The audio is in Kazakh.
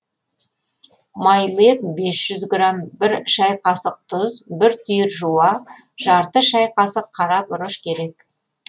майлы ет бес жүз грамм бір шай қасық тұз екі түйір жуа жарты шай қасық қара бұрыш керек